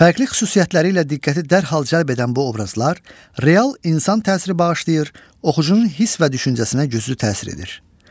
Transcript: Fərqli xüsusiyyətləri ilə diqqəti dərhal cəlb edən bu obrazlar real insan təsiri bağışlayır, oxucunun hiss və düşüncəsinə güclü təsir edir.